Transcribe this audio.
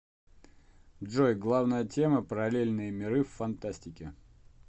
джой главная тема параллельные миры в фантастике